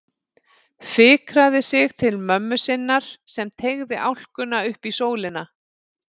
Fikraði sig til mömmu sinnar sem teygði álkuna upp í sólina.